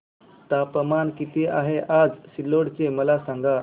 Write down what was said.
तापमान किती आहे आज सिल्लोड चे मला सांगा